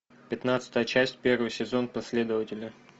пятнадцатая часть первый сезон последователи